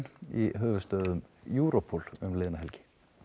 í höfuðstöðvum Europol liðna helgi